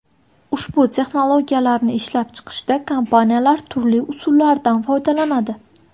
Ushbu texnologiyalarni ishlab chiqishda kompaniyalar turli usullardan foydalanadi.